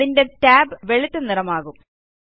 അതിന്റെ ടാബ് വെളുത്തനിറമാകും